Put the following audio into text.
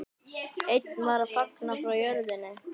Einn var að flagna frá jörðinni.